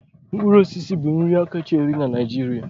mkpụrụ osisi bụ nri kacha eri na Naịjirịa.